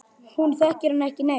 Hún þekkir hann ekki neitt.